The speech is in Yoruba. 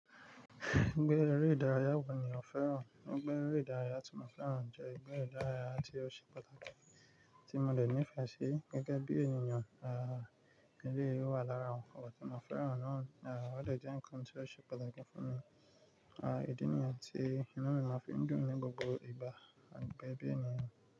Egbe ẹ́rẹ́ ìdárayá wo ní ọ̀fẹ́ràn. Egbe ìdárayá tí mo fẹ́ràn jẹ egbe ìdárayá tí ó ṣe pàtàkì, tí mo dẹ̀ nífẹ̀ẹ́ sí gẹ́gẹ́ bí ènìyàn, à, eleyìí wà lára wọn. Ọ̀pọ̀ tí mo fẹ́ràn náà, à, wọ́n dẹ̀ jẹ́ ǹkan tí ó ṣe pàtàkì fún mi. À, ìdí nìyẹn tí inú mi máa fi ń dùn ní gbogbo ìgbà, àgbẹ̀bí ènìyàn.